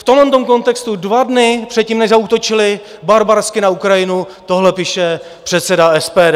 V tomhle kontextu dva dny předtím, než zaútočili barbarsky na Ukrajinu, tohle píše předseda SPD.